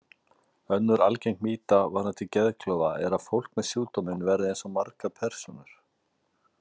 Önnur algeng mýta varðandi geðklofa er að fólk með sjúkdóminn verði eins og margar persónur.